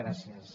gràcies